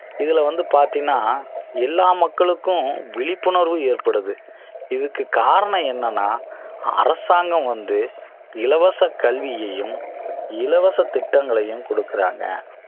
இதுல வந்து பாத்தீங்கன்னா எல்லா மக்களுக்கும் விழிப்புணர்வு ஏற்படுது இதுக்கு காரணம் என்னன்னா அரசாங்கம் வந்து இலவச கல்வியையும் இலவச திட்டங்களையும் குடுக்குறாங்க